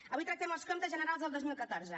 avui tractem els comptes generals del dos mil catorze